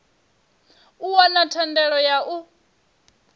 u wana thendelo ya u